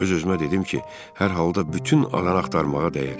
Öz-özümə dedim ki, hər halda bütün alan axtarmağa dəyər.